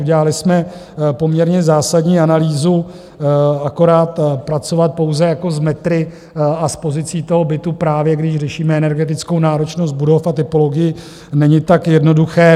Udělali jsme poměrně zásadní analýzu, akorát pracovat pouze jako s metry a s pozicí toho bytu, právě když řešíme energetickou náročnost budov a typologii, není tak jednoduché.